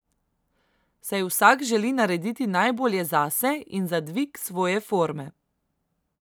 Saj vsak želi narediti najbolje zase in za dvig svoje forme.